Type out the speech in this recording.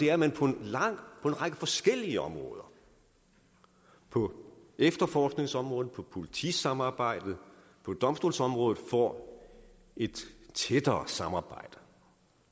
er at man på en række forskellige områder på efterforskningsområdet for politisamarbejdet på domstolsområdet får et tættere samarbejde